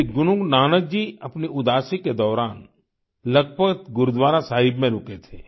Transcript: श्री गुरु नानक जी अपने उदासी के दौरान लखपत गुरुद्वारा साहिब में रुके थे